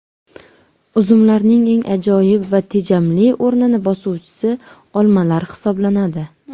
Uzumlarning eng ajoyib va tejamli o‘rnini bosuvchisi olmalar hisoblanadi.